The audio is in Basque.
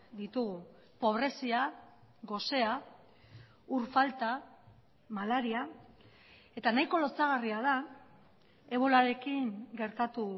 ditugu pobrezia gosea ur falta malaria eta nahiko lotsagarria da ebolarekin gertatu